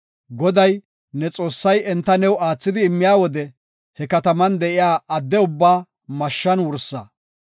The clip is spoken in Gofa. Goday, ne Xoossay enta new aathidi immiya wode he kataman de7iya adde ubbaa mashshan wursa.